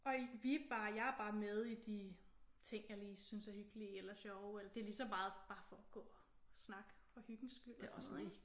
Og i vi er bare jeg er bare med i de ting jeg lige synes er hyggelige eller sjove det er lige så meget bare for at gå og snakke for hyggens skyld og sådan noget ik?